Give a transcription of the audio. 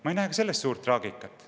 Ma ei näe ka selles suurt traagikat.